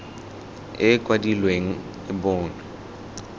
e e kwadilweng e bonwe